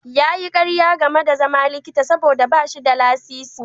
Ya yi ƙarya game da zama likita saboda ba shi da lasisi.